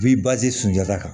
sunjata kan